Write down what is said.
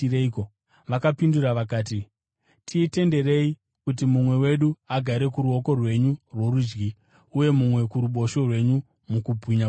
Vakapindura vakati, “Titenderei kuti mumwe wedu agare kuruoko rwenyu rworudyi uye mumwe kuruboshwe rwenyu mukubwinya kwenyu.”